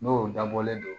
N'o dabɔlen don